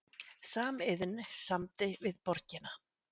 Samiðn samdi við borgina